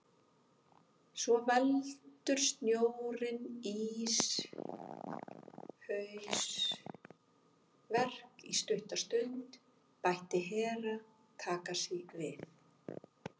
Svo veldur snjórinn íshausverk í stutta stund, bætti Herra Takashi við.